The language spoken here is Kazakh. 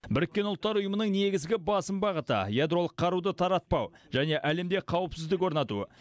біріккен ұлттар ұйымының негізгі басым бағыты ядролық қаруды таратпау және әлемде қауіпсіздік орнату